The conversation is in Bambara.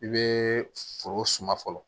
I bɛ foro suma fɔlɔ